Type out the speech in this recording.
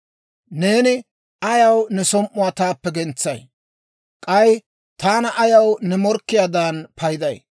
«Neeni ayaw ne som"uwaa taappe gentsay? K'ay taana ayaw ne morkkiyaadan payday?